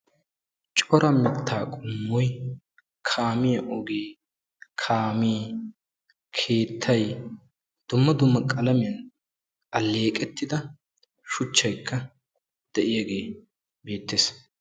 cora murutaa ogee woy kaamiya ogee kaamee, keettay, dumma dumma qalamiyan aleeqetidda shuchchaykka beetees.